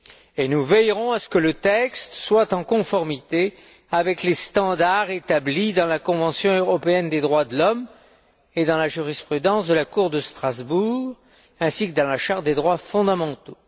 Et nous veillerons à ce que le texte soit en conformité avec les standards établis dans la Convention européenne des droits de l'homme et dans la jurisprudence de la Cour de Strasbourg ainsi que dans la Charte des droits fondamentaux.